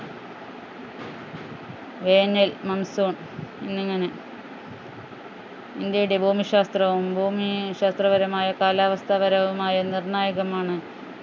വേനൽ monsoon എന്നിങ്ങനെ ഇന്ത്യയുടെ ഭൂമിശാസ്ത്രവും ഭൂമി ശാസ്ത്രപരമായ കാലാവസ്ഥാപരവുമായ നിർണായകമാണ്